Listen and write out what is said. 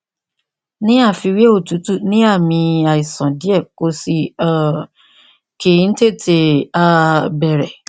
ní àfiwé òtútù ní àmì àìsàn díẹ kò sì um kí ń tètè um bẹrẹ